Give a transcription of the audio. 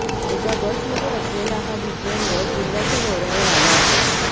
एका बसमध्ये असलेला हा विज्ञानरथ जिल्ह्याच्या दौऱ्यावर आला आहे